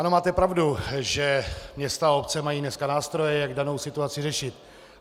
Ano, máte pravdu, že města a obce mají dneska nástroje, jak danou situaci řešit.